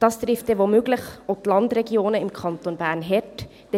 – Das wird möglicherweise auch die Landregionen im Kanton Bern hart treffen.